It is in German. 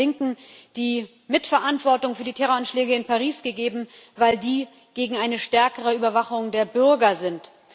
den Linken die Mitverantwortung für die Terroranschläge in Paris gegeben, weil die gegen eine stärkere Überwachung der Bürger sind.